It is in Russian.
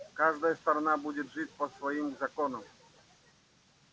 каждая сторона будет жить по своим законам